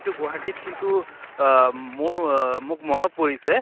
তো গুৱাহাটিত কিন্তু অহ মোৰ অহ মোক মনত পৰিছে